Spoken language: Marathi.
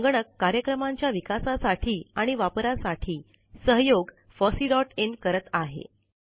संगणक कार्यक्रमांच्या विकासासाठी आणि वापरासाठी सहयोग fosseeइन करत आहे